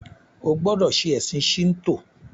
O gbódò ṣe ẹsìn Shinto!